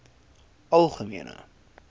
algemene